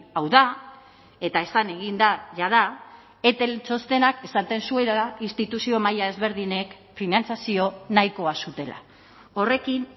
hau da eta esan egin da jada etel txostenak esaten zuela instituzio maila ezberdinek finantzazio nahikoa zutela horrekin